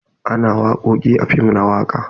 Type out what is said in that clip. Ana wakoki a fim na waka.